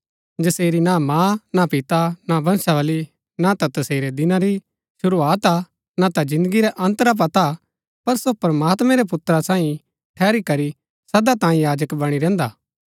जसेरी ना मां ना पिता ना वंशावली ना ता तसेरै दिना री शुरूआत हा ना ता जिन्दगी रै अन्त रा पता पर सो प्रमात्मैं रै पुत्रा सांईं ठहरी करी सदा तांई याजक बणी रैहन्दा हा